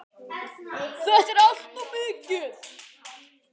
Þetta er allt of mikið!